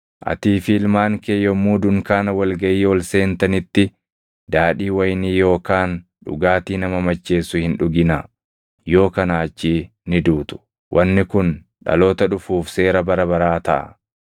“Atii fi ilmaan kee yommuu dunkaana wal gaʼii ol seentanitti daadhii wayinii yookaan dhugaatii nama macheessu hin dhuginaa. Yoo kanaa achii ni duutu. Wanni kun dhaloota dhufuuf seera bara baraa taʼa.